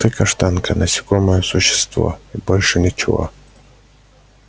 ты каштанка насекомое существо и больше ничего